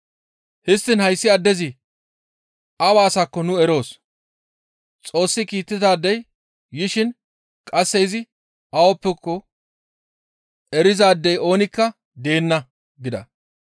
Histtiin hayssi addezi awa asakko nu eroos. Xoossi kiittidaadey yishin qasse izi awappeko erizaadey oonikka deenna» gida.